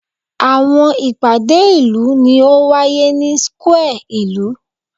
Awọn ipade ilu ni o waye ni square ilu